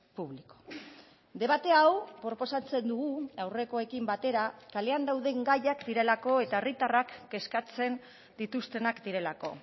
público debate hau proposatzen dugu aurrekoekin batera kalean dauden gaiak direlako eta herritarrak kezkatzen dituztenak direlako